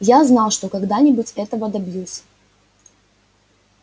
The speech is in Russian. я знал что когда-нибудь этого добьюсь